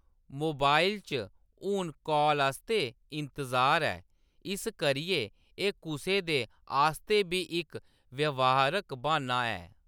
Mobile च हून call आस्तै इंतजार ऐ, इस करियै एह्‌‌ कुसै दे आस्तै बी इक व्यवहारक बाह्‌न्ना ऐ।